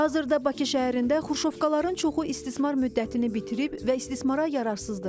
Hazırda Bakı şəhərində Xruşovkaların çoxu istismar müddətini bitirib və istismara yararsızdırlar.